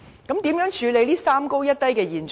如何處理這"三高一低"的現象？